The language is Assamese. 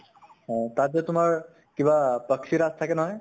অ । তাত যে তোমাৰ কিবা পাক্ষী ৰাজ থাকে নহয় ?